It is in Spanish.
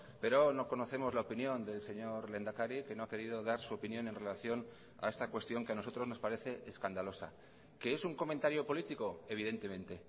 pero no conocemos la opinión del señor lehendakari que no ha querido dar su opinión en relación a esta cuestión que a nosotros nos parece escandalosa que es un comentario político evidentemente